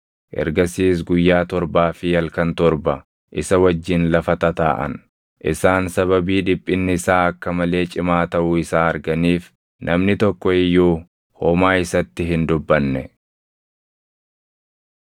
Ergasiis guyyaa torbaa fi halkan torba isa wajjin lafa tataaʼan. Isaan sababii dhiphinni isaa akka malee cimaa taʼuu isaa arganiif, namni tokko iyyuu homaa isatti hin dubbanne.